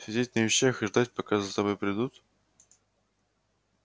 сидеть на вещах и ждать пока за тобой придут